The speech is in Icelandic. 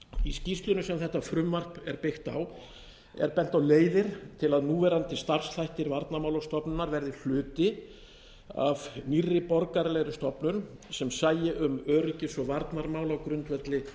í skýrslunni sem þetta frumvarp er byggt á er bent á leiðir til að núverandi starfsþættir varnarmálastofnunar verði hluti af nýrri borgaralegri stofnun sem sæi um öryggis og varnarmál á grundvelli